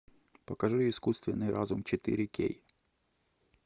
покажи искусственный разум четыре кей